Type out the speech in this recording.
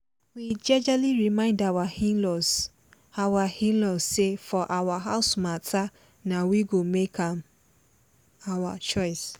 we jejely remind our in-laws our in-laws say for our house matter na we go make our choice